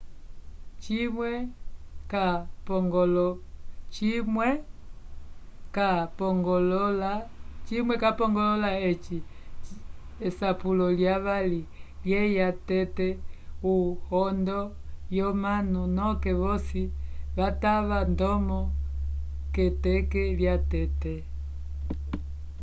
cimwe ca pongolola eci esapulo lya vali lyeya tete o hondo yo manu noke vosi vatava ndomo ke teke lya tete